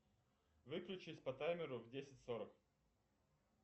выключись по таймеру в десять сорок